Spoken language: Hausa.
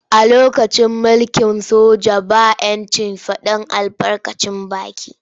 A lokacin mulkin soja ba ‘yancin fadar albarkacin baki.